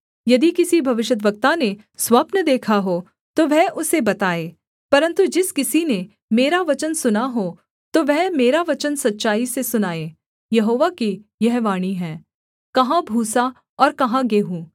यदि किसी भविष्यद्वक्ता ने स्वप्न देखा हो तो वह उसे बताए परन्तु जिस किसी ने मेरा वचन सुना हो तो वह मेरा वचन सच्चाई से सुनाए यहोवा की यह वाणी है कहाँ भूसा और कहाँ गेहूँ